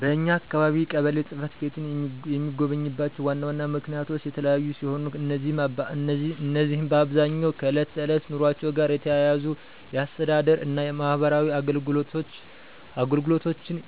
በኛ አካባቢ ቀበሌ ጽ/ቤትን የሚጎበኙባቸው ዋና ዋና ምክንያቶች የተለያዩ ሲሆኑ፣ እነዚህም በአብዛኛው ከዕለት ተዕለት ኑሯቸው ጋር የተያያዙ የአስተዳደር እና የማህበራዊ አገልግሎቶችን